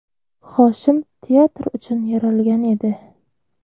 Hoshim teatr uchun yaralgan edi.